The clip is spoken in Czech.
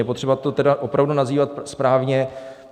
Je potřeba to tedy opravdu nazývat správně.